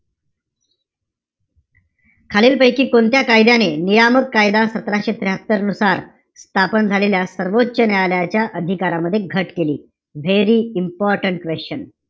खालील पैकी, कोणत्या कायद्याने, नियामक कायदा सतराशे त्र्याहात्तर नुसार, स्थापन झालेल्या, सर्वोच्च न्यायालयाच्या अधिकारांमध्ये घट केली? Very important question.